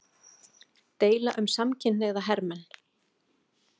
Deila um samkynhneigða hermenn